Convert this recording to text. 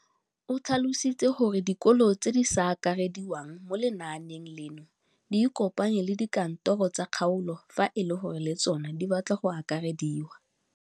O tlhalositse gore dikolo tse di sa akarediwang mo lenaaneng leno di ikopanye le dikantoro tsa kgaolo fa e le gore le tsona di batla go akarediwa.